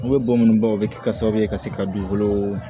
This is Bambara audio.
U bɛ bɔ minnu ba o bɛ kɛ sababu ye ka se ka dugukolo